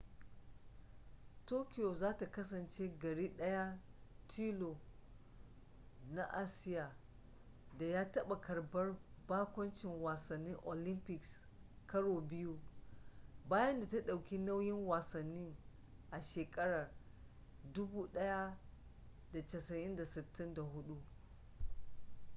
tokyo za ta kasance gari daya tilo na asiya da ya taba karbar bakuncin wasannin olympics karo biyu bayan da ta dauki nauyin wasannin a shekarar 1964